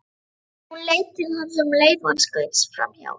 Hún leit til hans um leið og hann skaust framhjá.